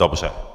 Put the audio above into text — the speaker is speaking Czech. Dobře.